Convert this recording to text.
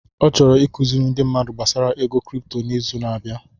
Ọ chọrọ ịkụziri ndi mmadụ gbasara ego cripto n'izu na-abịa.